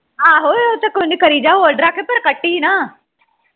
ਆਹੋ ਉਹ ਤੇ ਕੋਈ ਨਹੀਂ ਕਰੀ ਜਾ hold ਰੱਖ ਪਰ ਕੱਟੀ ਨਾ